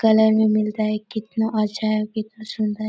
colour भी मिल रहा कितना अच्छा है कितना सुन्दर--